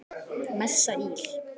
Messa íl.